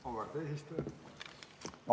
Auväärt eesistuja!